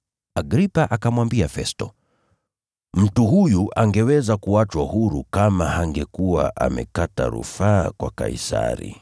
Agripa akamwambia Festo, “Mtu huyu angeachwa huru kama hangekuwa amekata rufaa kwa Kaisari.”